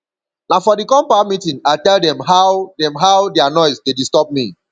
na for di compound meeting i tell dem how dem how their noise dey disturb me